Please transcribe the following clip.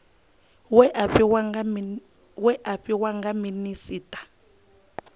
we a fhiwa nga minisita